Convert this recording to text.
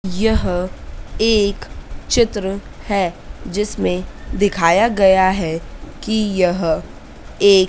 यह एक चित्र हैं जिसमें दिखाया गया हैं कि यह एक--